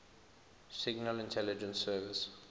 signal intelligence service